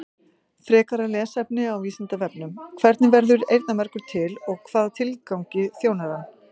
Frekara lesefni á Vísindavefnum: Hvernig verður eyrnamergur til og hvaða tilgangi þjónar hann?